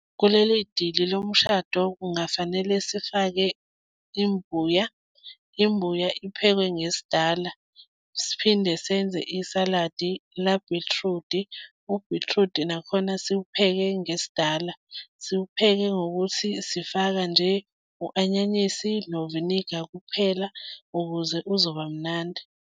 Kuleli dili lomshado kungafanele sifake imbuya, imbuya iphekwe ngesidala, siphinde senze isaladi labhithrudi, ubhithrudi nakhona siwupheke ngesidala, siwupheke ngokuthi sifaka nje u-anyanyisi noviniga kuphela ukuze uzoba mnandi.